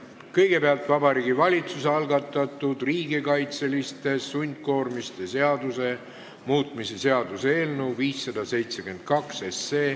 Kõigepealt, Vabariigi Valitsuse algatatud riigikaitseliste sundkoormiste seaduse muutmise seaduse eelnõu 572.